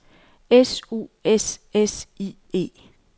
S U S S I E